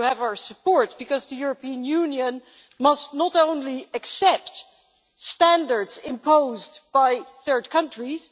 You have our support, because the European Union must not only accept standards imposed by third countries